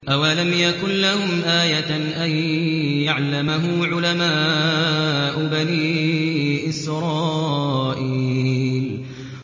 أَوَلَمْ يَكُن لَّهُمْ آيَةً أَن يَعْلَمَهُ عُلَمَاءُ بَنِي إِسْرَائِيلَ